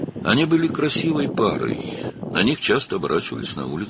Onlar gözəl cütlük idilər, küçədə onlara tez-tez baxırdılar.